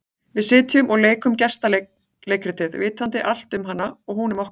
Við sitjum og leikum gestaleikritið, vitandi allt um hana og hún um okkur.